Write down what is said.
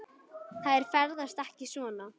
Þær ferðast ekki svona.